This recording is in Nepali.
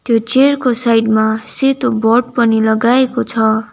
यो चेयरको साइडमा सेतो बोर्ड पनि लगाएको छ।